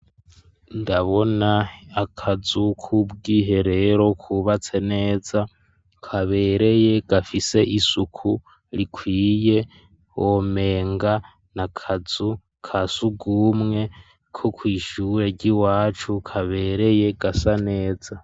Ndabona akazu k'ubwiherero kubatse neza kabereye gafise isuku rikwiye womenga na kazu kasugumwe ko kw'ishure iwacu kabereye gasa neza.